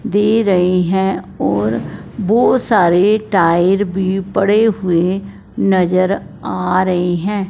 दे रही है और बहोत सारे टायर भी पड़े हुए नजर आ रहे हैं।